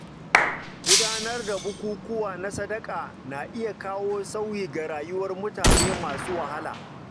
Gudanar da bukukuwa na sadaqa na iya kawo sauyi ga rayuwar mutane masu wahala.